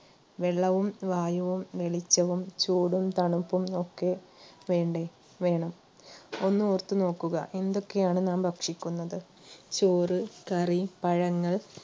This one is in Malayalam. വെള്ളവും വായുവും വെളിച്ചവും ചൂടും തണുപ്പും ഒക്കെ വേണ്ടേ? വേണം ഒന്നോർത്തു നോക്കുക എന്തൊക്കെയാണ് നാം ഭക്ഷിക്കുന്നത് ചോറ്, കറി, പഴങ്ങൾ